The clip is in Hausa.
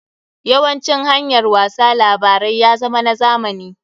Yawancin hanyar wasa labarai ya zama na zamani.